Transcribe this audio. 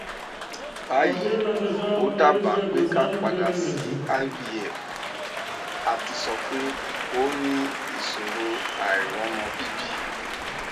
bayi o daba pe ka padà sí ivf àti sọ pé ó ní ìṣòro àìromọ bibi